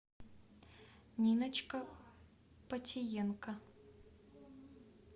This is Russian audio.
ниночка потиенко